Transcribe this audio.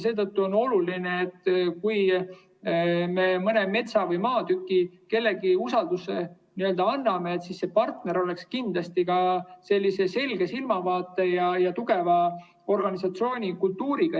Seetõttu on oluline, et kui me mõne metsa või maatüki kellelegi usaldame, siis see partner oleks kindlasti ka selge silmavaate ja tugeva organisatsioonikultuuriga.